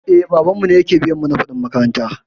Eh, babanmu ke biya mana kuɗin makaranta.